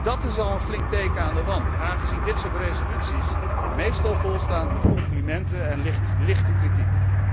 Dat is al een flink teken aan de wand, aangezien dit soort resoluties meestal volstaan met complimenten en lichte kritiek.